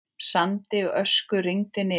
Sandi og ösku rigndi niður.